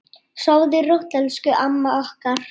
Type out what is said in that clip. Sofðu rótt, elsku amma okkar.